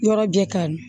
Yɔrɔ jɛ ka ɲi